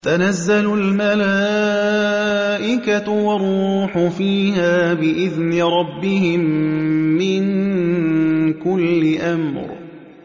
تَنَزَّلُ الْمَلَائِكَةُ وَالرُّوحُ فِيهَا بِإِذْنِ رَبِّهِم مِّن كُلِّ أَمْرٍ